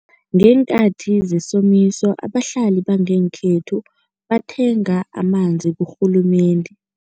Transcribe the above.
Ngeenkhathi zesomiso abahlali bangekhethu bathenga amanzi kurhulumende.